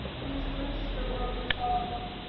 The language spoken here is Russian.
не строй из себя гордую шалава